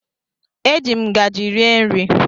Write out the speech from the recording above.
Eji m ngajị rie nri.